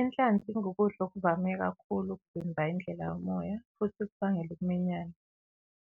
Inhlanzi ingukudla okuvame kakhulu ukuvimba indlela yomoya futhi kubangele ukuminyana.